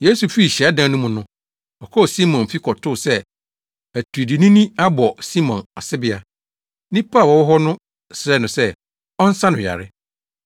Yesu fii hyiadan no mu no, ɔkɔɔ Simon fi kɔtoo sɛ atiridiinini abɔ Simon asebea. Nnipa a wɔwɔ hɔ no srɛɛ no sɛ ɔnsa no yare.